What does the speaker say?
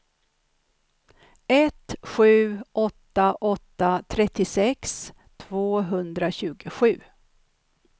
ett sju åtta åtta trettiosex tvåhundratjugosju